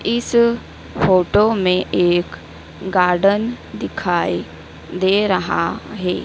इस फोटो में एक गार्डन दिखाई दे रहा है।